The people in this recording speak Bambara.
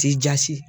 Ti jasi